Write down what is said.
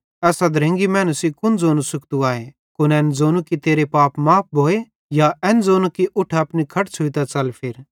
एस अधरंगी मैनू सेइं कुन ज़ोनू सुख्तू आए एन ज़ोनू कि तेरे पाप माफ़ भोए या एन ज़ोनू कि उठ अपनी खट छ़ुइतां च़ल फिर